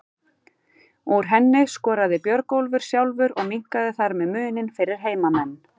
Úr henni skoraði Björgólfur sjálfur og minnkaði þar með muninn fyrir heimamenn.